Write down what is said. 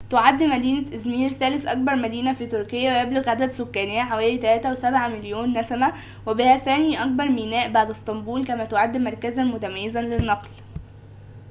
تعد مدينة إزمير ثالث أكبر مدينة في تركيا ويبلغ عدد سكانها حوالي 3.7 مليون نسمة وبها ثاني أكبر ميناء بعد اسطنبول كما تعد مركزاً متميزاً للنقل